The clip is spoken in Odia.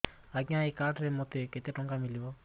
ଆଜ୍ଞା ଏଇ କାର୍ଡ ରେ ମୋତେ କେତେ ଟଙ୍କା ମିଳିବ